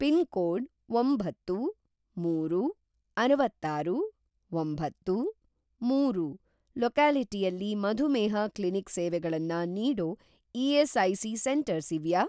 Pin code ಒಂಬತ್ತು, ಮೂರು, ಅರವತ್ತಾರು, ಒಂಬತ್ತು, ಮೂರು ಲೊಕ್ಯಾಲಿಟಿಯಲ್ಲಿ ಮಧುಮೇಹ ಕ್ಲಿನಿಕ್ ಸೇವೆಗಳನ್ನ ನೀಡೋ ಇ.ಎಸ್.ಐ.ಸಿ. ಸೆಂಟರ್ಸ್‌ ಇವ್ಯಾ?